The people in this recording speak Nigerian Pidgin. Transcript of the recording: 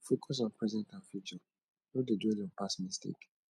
focus on present and future no dey dwell on past mistake